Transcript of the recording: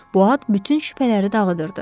Bu ad bütün şübhələri dağıdırdı.